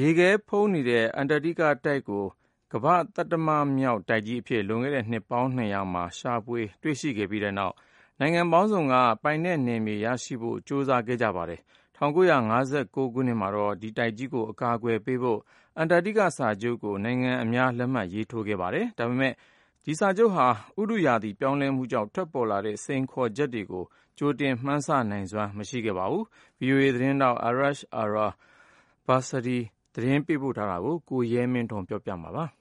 ရေခဲဖုံးနေတဲ့ အန္တာတိကတိုက်ကို ကမ္ဘာ့ သတ္တမမြောက်တိုက်ကြီးအဖြစ် လွန်ခဲ့တဲ့ နှစ်ပေါင်း ၂၀၀ က ရှာဖွေတွေ့ရှိခဲ့ကြပြီးတဲ့နောက် နိုင်ငံပေါင်းစုံက ပိုင်နက်နယ်မြေရရှိဖို့ ကြိုးစားခဲ့ကြပါတယ်။ ၁၉၅၉ ခုနှစ်မှာတော့ ဒီတိုက်ကြီးကို အကာအကွယ်ပေးဖို့ Antarctica Treaty ကို နိုင်ငံအများ လက်မှတ်ရေး ထိုးခဲ့ကြပါတယ်။ ဒါပေမဲ့ ဒီစာချုပ်ဟာ ဥတုရာသီ ပြောင်းလဲမှုကြောင့် ထွက်ပေါ်လာတဲ့ စိန်ခေါ်မှုတွေကို ကြိုတင် မှန်းဆ နိုင်စွမ်း မရှိခဲ့ပါဘူး။ VOA သတင်းထောက် Arash Arabasadi ရဲ့ သတင်းပေးပို့ချက်ကို ကိုရဲမင်းထွန်းက ပြောပြပါမယ်။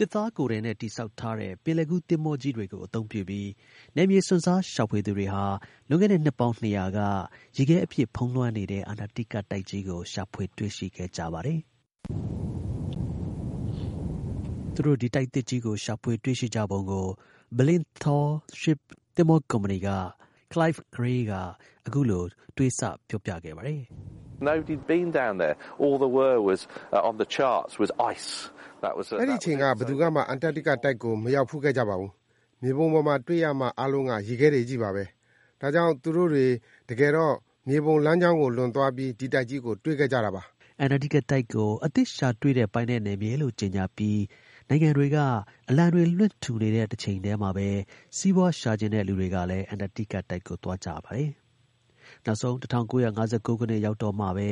သစ်သားကိုယ်ထည်နဲ့ တည်ဆောက်ထားတဲ့ ပင်လယ်ကူး သင်္ဘောကြီး တွေကို အသုံးပြုပြီး နယ်မြေ စွန့်စား ရှာဖွေသူတွေဟာ လွန်ခဲ့တဲ့ နှစ်ပေါင်း ၂၀၀ က ရေခဲအပြည့် ဖုံးလွှမ်း နေတဲ့ အန္တာတိကတိုက်ကြီးကို ရှာဖွေတွေ့ရှိခဲ့ကြပါတယ်။ သူတို့ ဒီ တိုက်သစ်ကြီးကို ရှာဖွေတွေ့ရှိပုံကို Blyth Tall Ship သဘောၤကုမ္ပဏီက Clive Gray က အခုလို ပြောပြခဲ့ပါတယ်။ “အဲဒီ အချိန်က ဘယ်သူကမှအန္တာတိကတိုက်ကို မရောက်ဖူးခဲ့ကြဘူး။ မြေပုံပေါ်မှာ တွေ့ရမှာ အားလုံးက ရေခဲတွေချည်းပဲလေ။ ဒါကြောင့် သူတို့တွေ တကယ်တော့ မြေပုံလမ်းကြောင်းကို လွန်သွားပြီး ဒီ တိုက်ကြီးကို တွေ့ခဲ့ကြတာ။” အန္တာတိကတိုက်ကို အသစ်ရှာတွေ့တဲ့ ပိုင်နယ်နယ်မြေလို့ ကြေညာပြီး နိုင်ငံတွေက အလံတွေ လွှင့်ထူနေတဲ့အချိန်မှာပဲ စီးပွားရှာချင်တဲ့ လူတွေကလည်း အန္တာတိကကို သွားကြပါတယ်။ နောက်ဆုံး ၁၉၅၉ ခုနှစ် ရောက်တော့မှပဲ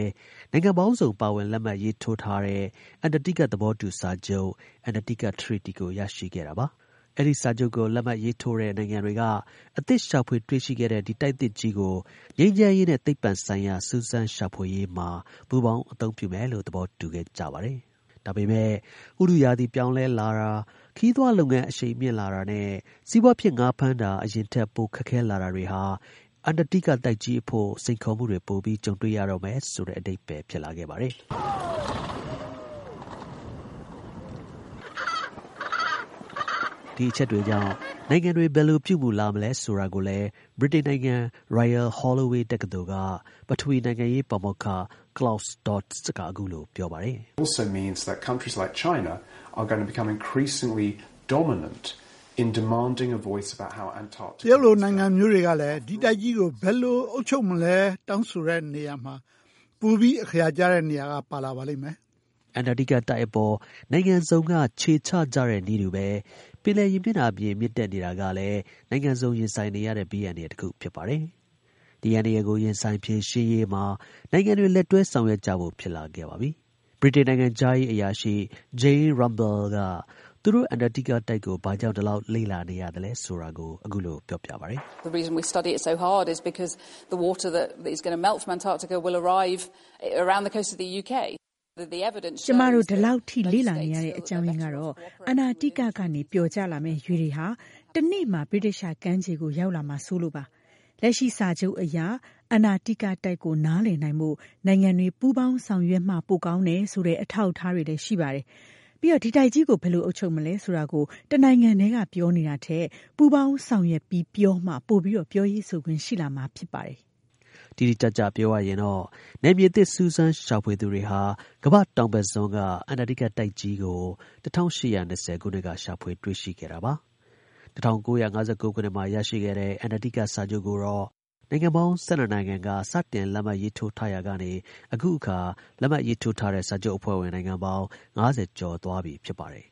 နိုင်ငံပေါင်းစုံ ပါဝင်လက်မှတ်ရေးထိုးတဲ့ အန္တာတိက သဘောတူ စာချုပ် (Antarctica Treaty) ကို ရရှိခဲ့တာပါ။ အဲဒီ စာချုပ်ကို လက်မှတ်ရေးထိုးတဲ့ နိုင်ငံတွေက အသစ်ရှာဖွေတွေ့ရှိတဲ့ ဒီတိုက် သစ်ကြီးကို ငြိမ်းချမ်းရေးနဲ့ သိပ္ပံဆိုင်ရာ စူးစမ်းရှာဖွေရေးမှာ ပူးပေါင်း အသုံးပြုမယ်လို့ သဘောတူခဲ့ကြပါတယ်။ ဒါပေမယ့် ဥတုရာသီ ပြောင်းလဲလာတာ၊ ခရီးသွားလုပ်ငန်း အရှိန်မြှင့်လာတာနဲ့ စီးပွားဖြစ် ငါး ဖမ်းတာ အရင်ထက် ပိုခက်ခဲလာတာတွေဟာ အန္တာတိက တိုက်ကြီးအဖို့ စိန်ခေါ်မှုတွေ ပိုပြီး ကြုံတွေ့ရတော့မယ်ဆိုတဲ့ အဓိပ္ပါယ်ဖြစ်ပါတယ်။ ဒီ အချက်တွေကြောင့် နိုင်ငံတွေ ဘယ်လို ပြုမူလာ မလဲဆိုတာကိုလည်း ဗြိတိန်နိုင်ငံ Royal Holloway တက္ကသိုလ်က ပထဝီ နိုင်ငံရေး ပါမောက္ခ Claus Dodds က အခုလို ပြောပါတယ်။ “တရုတ်လို နိုင်ငံမျိုးတွေကလည်း ဒီ တိုက်ကြီးကို ဘယ်လို အုပ်ချုပ်မလဲဆိုပြီး တောင်းဆိုရာမှာ ပိုပြီး အခရာ ကျတဲ့နေရာက ပါလာလိမ့်မယ်။” အန္တာတိကအပေါ် နိုင်ငံစုံ ခြေချကြတဲ့နည်းတူပဲ ပင်လယ် ရေမျက်နှာပြင် မြင့်တက်နေတာကလည်း နိုင်ငံစုံ ရင်ဆိုင်နေရတဲ့ ဘေးအန္တရာယ် ဖြစ်ပါတယ်။ ဒီ အန္တရာယ်ကို ရင်ဆိုင်ဖြေရှင်းရေးမှာ နိုင်ငံတွေ လက်တွဲ ဆောင်ရွက်ကြဖို့ ဖြစ်လာပါတယ်။ ဗြိတိန် နိုင်ငံခြားရေး အရာရှိ Jane Rumble က သူတို့ အန္တာတိကကို ဘာကြောင့် ဒီလောက် လေ့လာနေရသလဲဆိုတာကို ပြောပြပါတယ်။ “ကျွန်မတို့ ဒီလောက် လေ့လာနေရတဲ့ အကြောင်းရင်းကတော့ အန္တာတိက ကနေ ပျော်ကျလာမယ့် ရေတွေက တစ်နေ့မှာ ဗြိတိသျှ ကမ်းခြေကို ရောက်လာမှာ စိုးလို့ပါပဲ။ လက်ရှိစာချုပ်အရ အန္တာတိကတိုက်ကို နားလည်နိုင်ဖို့ နိုင်ငံတွေ ပူးပေါင်းဆောင်ရွက်မှ ပိုကောင်း တယ်ဆိုတဲ့ အထောက်အထား တွေ ရှိပါတယ်။ ပြီးတော့ ဒီတိုက်ကြီးကို ဘယ်လို အုပ်ချုပ်မလဲဆိုတာကို တစ်နိုင်ငံတည်းက ပြောနေတာထက် ပူးပေါင်း ဆောင်ရွက်ပြီး ပြောမှ ပိုပြီး ပြောရေးဆိုခွင့်ရှိလာမှာ ဖြစ်ပါတယ်။” တိတိကျကျပြောရရင်တော့ နယ်မြေသစ် စူးစမ်းရှာဖွေသူ တွေဟာ ကမ္ဘာ့တောင်ဘက်စွန်းက အန္တာတိကတိုက်ကြီးကို ၁၈၂၀ ခုနှစ်က ရှာဖွေ တွေ့ရှိခဲ့တာပါ။ ၁၉၅၉ ခုနှစ်မှာ ရရှိခဲ့တဲ့ အန္တာတိကစာချုပ်ကိုတော့ နိုင်ငံပေါင်း ၁၂ နိုင်ငံ စတင်လက်မှတ် ရေးထိုးရာကနေ အခုအခါ လက်မှတ် ရေးထိုးထားတဲ့ စာချုပ်အဖွဲ့ဝင် နိုင်ငံပေါင်း ၅၀ ကျော်သွားပြီ ဖြစ်ပါတယ်